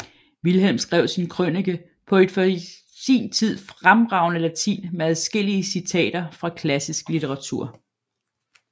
Vilhelm skrev sin krønike på et for sin tid fremragende latin med adskillige citater fra klassisk litteratur